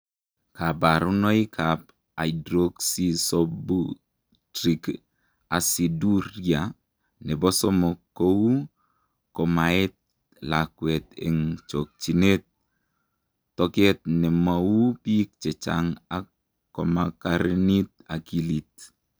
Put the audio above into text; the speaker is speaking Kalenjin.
Kabarunoikab hydroxyisobutyric aciduria nebo somok ko u komaet lakwet eng chokchinet, toket ne mo u bik chechang ak komakarinit akilit.